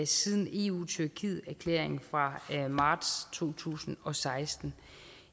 siden eu tyrkieterklæringen fra marts to tusind og seksten